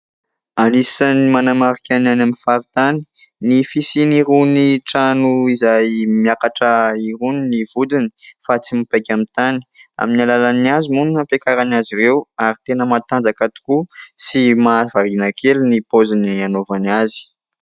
Anisan'ny manamarika ny any amin'ny faritany ny fisian'irony trano izay miakatra irony ny vodiny fa tsy mipaika amin'ny tany. Amin'ny alalan'ny hazo moa no ampiakarany azy ireo ary tena matanjaka tokoa sy mahavariana kely ny paoziny hanaovany azy.